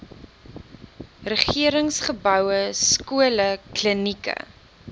regeringsgeboue skole klinieke